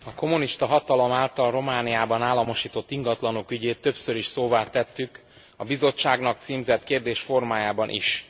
Elnök Asszony, a kommunista hatalom által Romániában államosított ingatlanok ügyét többször is szóvá tettük, a Bizottságnak címzett kérdés formájában is.